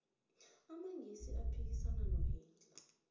amangisi aphikisana nohitler